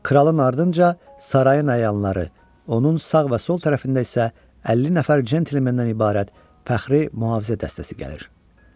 Kralın ardınca sarayın ayanları, onun sağ və sol tərəfində isə 50 nəfər centlemendən ibarət fəxri mühafizə dəstəsi gəlir.